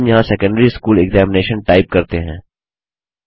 हम यहाँ secondary school examination type करते हैं